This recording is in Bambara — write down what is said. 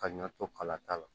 Ka ɲɔ to kala t'a la